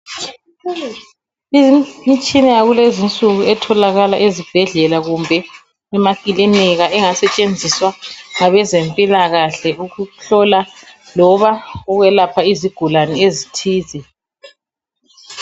Imitshina yakulezi insuku etholakala ezibhedlela kumbe emakilika engasetshenziswa ngabezempilakahle ukuhlola loba ukwelapha izigulane ezithize.